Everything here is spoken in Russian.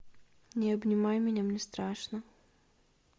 не обнимай меня мне страшно